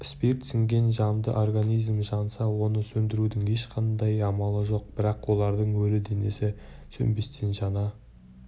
спирт сіңген жанды организм жанса оны сөндірудің ешқандай амалы жоқ бірақ олардың өлі денесі сөнбестен жана